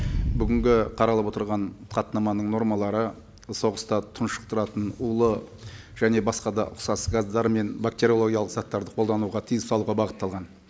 бүгінгі қаралып отырған хаттаманың нормалары соғыста тұншықтыратын улы және басқа да ұқсас газдар мен бактериологиялық заттарды қолдануға тыйым салуға бағытталған